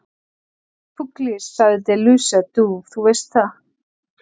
Pugliese, sagði De Luca, þú veist það.